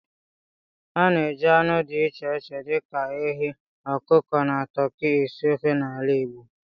A na-eji anụ dị iche iche dị ka ehi, ọkụkọ, na toki esi ofe n'ala Igbo